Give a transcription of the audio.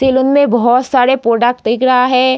Salon मैं बोहोत सारे पोडक्ट दिग रहा है।